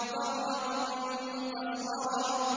فَرَّتْ مِن قَسْوَرَةٍ